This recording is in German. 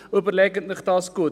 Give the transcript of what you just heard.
» Überlegen Sie es sich gut.